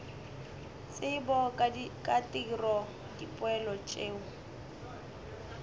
tsebo ka tiro dipoelo tšeo